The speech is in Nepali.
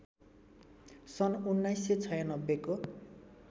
सन् १९९६ को